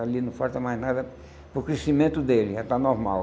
Ali não falta mais nada para o crescimento dele, já está normal.